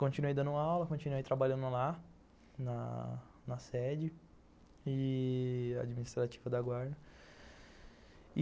Continuei dando aula, continuei trabalhando lá, na na sede e administrativa da guarda.